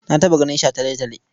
Na taɓa ganin shataletale.